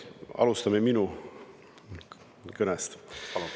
Alustame minu kõnest.